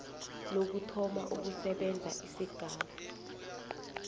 lokuthoma ukusebenza kwesigaba